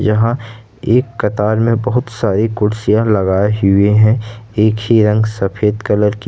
यहां एक कतार में बहुत सारी कुर्सियां लगाई हुए हैं एक ही रंग सफेद कलर की--